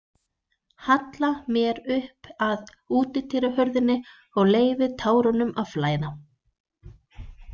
Halla mér upp að útidyrahurðinni og leyfi tárunum að flæða.